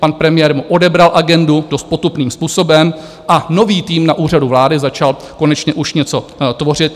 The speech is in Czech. Pan premiér mu odebral agendu dost potupným způsobem a nový tým na Úřadu vlády začal konečně už něco tvořit.